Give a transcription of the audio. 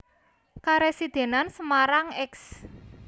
Karesidenan Semarang Eks